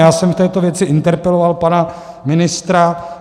Já jsem v této věci interpeloval pana ministra.